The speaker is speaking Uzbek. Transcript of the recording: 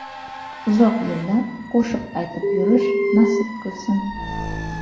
Uzoq yillar qo‘shiq aytib yurish nasib qilsin.